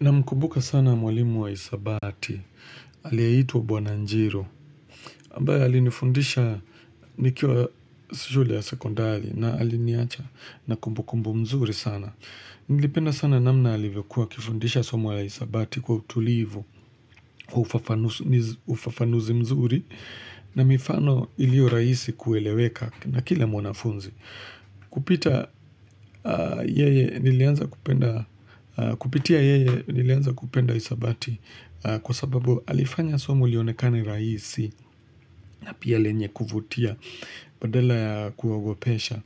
Na mkubuka sana mwalimu wa isabati, aliyeitwa Bwananjiru, ambaye alinifundisha nikiwa shule ya sekondari na aliniacha na kumbukumbu mzuri sana. Nilipenda sana namna alivyo kuwa akifundisha somo ya isabati kwa utulivu, ufafanuzi mzuri, na mifano ilio raisi kueleweka na kila mwanafunzi. Kupitia yeye nilianza kupenda isabati kwa sababu alifanya somo lionekane raisi na pia lenye kuvutia badala kuogopesha